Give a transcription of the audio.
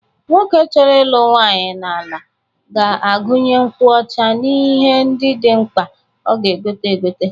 Nwoke chọrọ ịlụ nwaanyị n'ala ga-agụnye nkwụ ọcha n'ihe ndị dị mkpa ọ ga-egote egote.